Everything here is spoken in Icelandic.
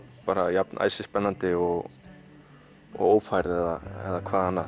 jafn æsispennandi og ófærð eða hvað annað